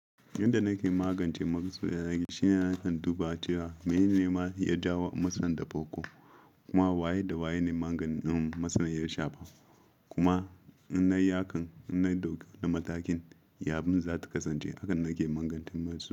Yanda nake magance masu yanayi, shine na duba cewa menene ya jawo matsalar da farko kuma waye da waye ne maganin matsalar ya shafa amma inna yi hakan, inna ɗauka wani matakin, ya abin zata kasance abinda yake.